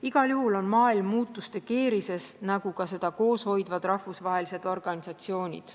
Igal juhul on maailm muutuste keerises nagu ka seda koos hoidvad rahvusvahelised organisatsioonid.